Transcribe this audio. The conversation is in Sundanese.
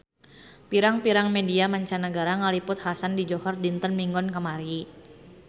Pirang-pirang media mancanagara ngaliput kakhasan di Johor dinten Minggon kamari